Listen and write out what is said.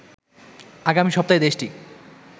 আগামী সপ্তাহে দেশটি